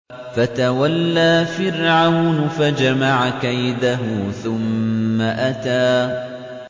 فَتَوَلَّىٰ فِرْعَوْنُ فَجَمَعَ كَيْدَهُ ثُمَّ أَتَىٰ